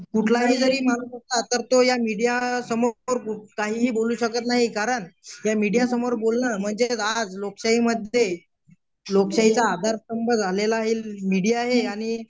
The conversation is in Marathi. कुठलाही जरी तर तो या मीडिया समोर काहीही बोलू शकत नाही कारण या मीडिया समोर बोलणं म्हणजे आज लोकशाहीमध्ये लोकशाहीचा आधारस्तंभ झालेला आहे मीडिया हे आणि